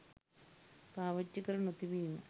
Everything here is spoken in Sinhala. පාවිච්චි කර නොතිබීම.